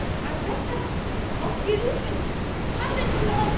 а бірақтан біз алып келу үшін қандай қиналамыз